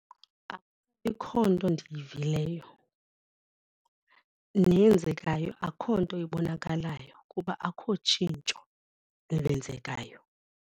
Ikho nto ndiyivileyo neyenzekayo akho nto ibonakalayo kuba akukho tshintsho lenzekayo.